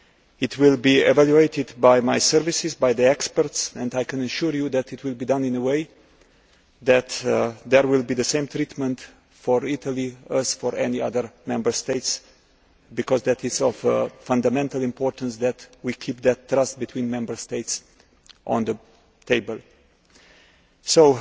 be. It will be evaluated by my services, by the experts, and I can assure you that it will be done in such a way that there will be the same treatment for Italy as for any other Member State, because it is of fundamental importance that we keep that trust between Member States on the table.